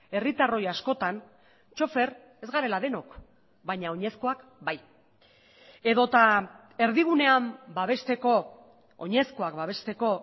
herritarroi askotan txofer ez garela denok baina oinezkoak bai edota erdigunean babesteko oinezkoak babesteko